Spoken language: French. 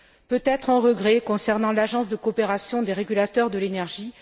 Peut être un regret concernant l'Agence de coopération des régulateurs de l'énergie